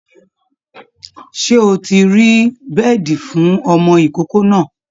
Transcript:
Ṣé o ti rí beedi fún ọmọ ìkókó náà?